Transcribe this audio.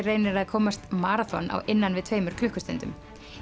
reynir að komast maraþon á innan við tveimur klukkustundum